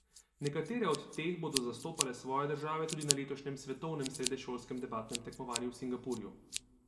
Nekatere od teh bodo zastopale svoje države tudi na letošnjem svetovnem srednješolskem debatnem tekmovanju v Singapurju.